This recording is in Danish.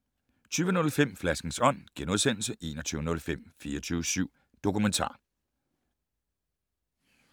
20:05: Flaskens ånd * 21:05: 24syv Dokumentar